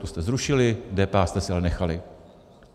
Tu jste zrušili, DPH jste si ale nechali.